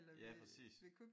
Ja præcis